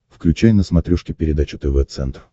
включай на смотрешке передачу тв центр